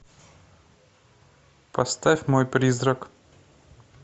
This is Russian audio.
поставь мой призрак